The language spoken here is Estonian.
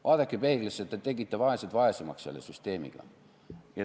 Vaadake peeglisse, te tegite vaesed vaesemaks selle süsteemiga.